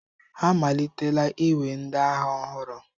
Ha amalitela iwe ndị agha ọhụrụ.